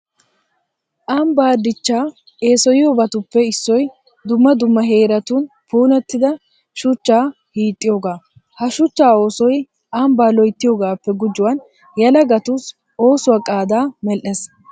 Ambbaa dichchaa eesoyiyabatuppe issoy dumma dumma heeratun puulattida shuchchaa hiixxiyogaa. Ha shuchchaa oosoy ambbaa loyttiyigaappe gujuwan yelagatussi oosuwa qaadaa medhdhees.